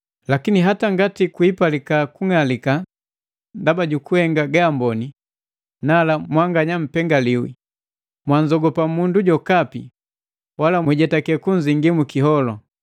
Lakini hata ngati kwiipalika kung'alika ndaba jukuhenga gaamboni, nala, mwanganya mpengaliwi. Mwanzogopa mundu jokapi, wala mwijetake kunzingi mu kiholu.